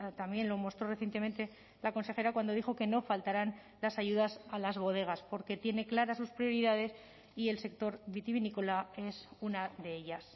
también lo mostró recientemente la consejera cuando dijo que no faltarán las ayudas a las bodegas porque tiene claras sus prioridades y el sector vitivinícola es una de ellas